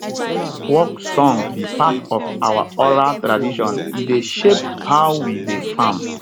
work songs be part of our oral tradition e dey shape how we dey farm